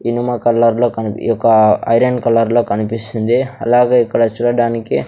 ఇనుమ కలర్లో కనిపి యొక ఐరన్ కలర్లో కనిపిస్తుంది అలాగే ఇక్కడ చూడడానికి--